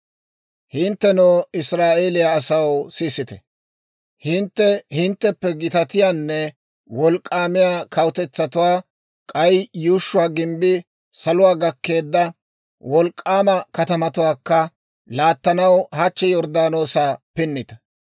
«Hinttenoo Israa'eeliyaa asaw sisite; hintte hintteppe gitatiyaanne wolk'k'aamiyaa kawutetsatuwaa, k'ay yuushshuwaa gimbbii saluwaa gakkeedda wolk'k'aama katamatuwaakka laattanaw hachchi Yorddaanoosa pinniita.